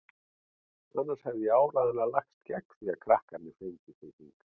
Annars hefði ég áreiðanlega lagst gegn því að krakkarnir fengju þig hingað.